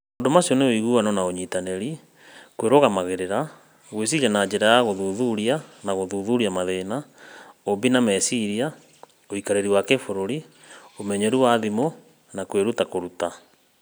Maũndũ macio nĩ ũiguano na ũnyitanĩri, kwĩrũgamagĩrĩra, gwĩciria na njĩra ya gũthuthuria na gũthuthuria mathĩna, ũũmbi na meciria, ũikarĩri wa kĩbũrũri, ũmenyeru wa thimũ, na kwĩruta kwĩruta.